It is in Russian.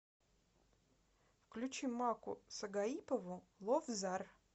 включи макку сагаипову ловзар